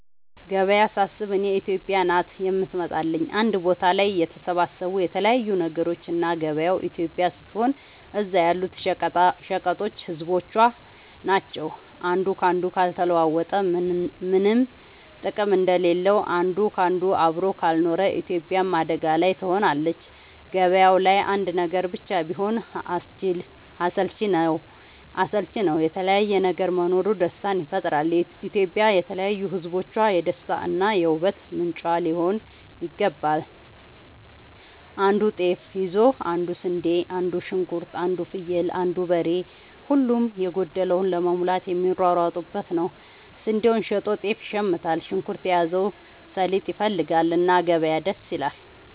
ገበያ ሳስብ እኔ ኢትዮጵያ ናት የምትመጣለኝ አንድ ቦታ ላይ የተሰባሰቡ የተለያዩ ነገሮች እና ገበያው ኢትዮጵያ ስትሆን እዛ ያሉት ሸቀጦች ህዝቦቿ ናቸው። አንዱ ካንዱ ካልተለዋወጠ ምነም ጥቅም እንደሌለው አንድ ካንዱ አብሮ ካልኖረ ኢትዮጵያም አደጋ ላይ ትሆናለች። ገባያው ላይ አንድ ነገር ብቻ ቢሆን አስልቺ ነው የተለያየ ነገር መኖሩ ደስታን ይፈጥራል። ኢትዮጵያም የተለያዩ ህዝቦቿ የደስታ እና የ ውበት ምንጯ ሊሆን ይገባል። አንዱ ጤፍ ይዞ አንዱ ስንዴ አንዱ ሽንኩርት አንዱ ፍየል አንዱ በሬ ሁሉም የጎደለውን ለመሙላት የሚሯሯጡበት ነው። ስንዴውን ሸጦ ጤፍ ይሽምታል። ሽንኩርት የያዘው ሰሊጥ ይፈልጋል። እና ገበያ ደስ ይላል።